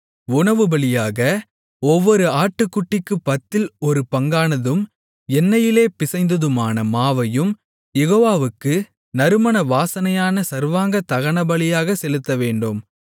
உணவுபலியாக ஒவ்வொரு ஆட்டுக்குட்டிக்குப் பத்தில் ஒரு பங்கானதும் எண்ணெயிலே பிசைந்ததுமான மாவையும் யெகோவாவுக்கு நறுமண வாசனையான சர்வாங்கதகனபலியாகச் செலுத்தவேண்டும்